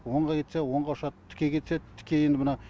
оңға кетсе оңға ұшады тіке кетсе тіке енді мына